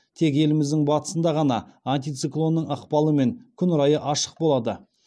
тек еліміздің батысында ғана антициклонның ықпалымен күн райы ашық болады